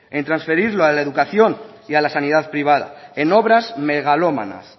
en transferirlo a la educación y a la sanidad privada en obras megalómanas